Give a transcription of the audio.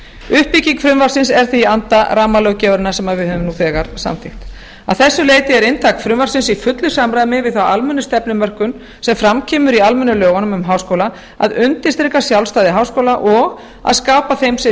uppbygging frumvarpsins er því í anda rammalöggjafarinnar sem við höfum nú þegar samþykkt að þessu leyti er inntak frumvarpsins í fullu samræmi við þá almennu stefnumörkun sem fram kemur í almennu lögunum um háskóla að undirstrika sjálfstæði háskóla og að skapa þeim sem